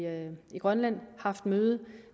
grønland haft møde